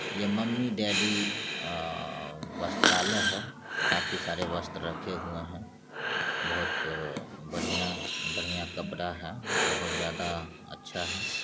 ये mummy daddy आ_आ वस्त्रालय है | काफी सारे वस्त्र रखे हुए हैं | बहुत आ बढ़िया बढ़िया कपड़ा है बहुत ज्यादा अच्छा है।